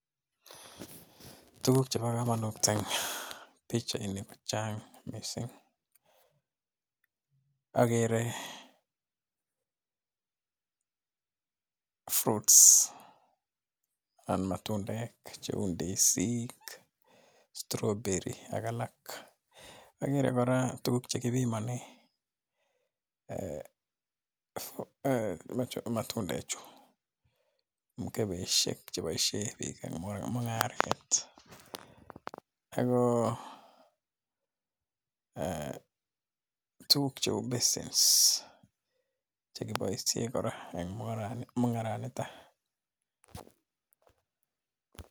Tuguk chebo kamanut eng pikchainik chang' missing agere fruits anan matundek cheu ndisik strawberry ak alak. Agerei kora tuguk che kipimane matundechu mkebeshek cheboishe biik eng mung'aret. Ako tuguk cheu basins chekiboishe kora eng mung'aranito.